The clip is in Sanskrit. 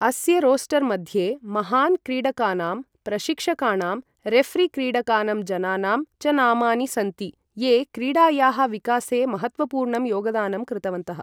अस्य रोस्टर् मध्ये महान् क्रीडकानाम्, प्रशिक्षकाणाम्, रेफ़री क्रीडकानम्, जनानां च नामानि सन्ति, ये क्रीडायाः विकासे महत्त्वपूर्णं योगदानं कृतवन्तः।